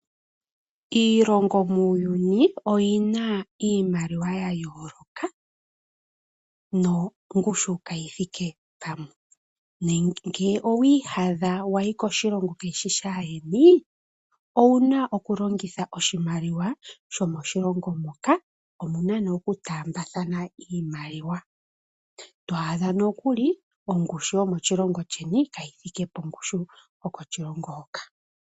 Iilongo muuyuni oyina iimaliwa ya yoloka nongushu kayi thike pamwe. Ngele owi iyadha wayi koshilongo ka shishi shayeni owuna oku longitha oshimaliwa shomo shilongo moka omuna ne oku tambathana iimaliwa, to adha nokilu ongushu yomoshilongo sheni kayithike pongushu yokoshilongo hoka.